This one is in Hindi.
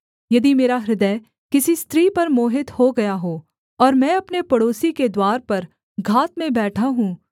यदि मेरा हृदय किसी स्त्री पर मोहित हो गया है और मैं अपने पड़ोसी के द्वार पर घात में बैठा हूँ